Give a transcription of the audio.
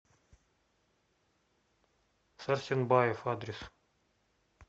сарсенбаев адрес